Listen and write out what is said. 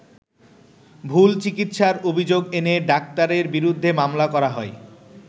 ভুল চিকিৎসার অভিযোগ এনে ডাক্তারের বিরুদ্ধে মামলা করা হয়।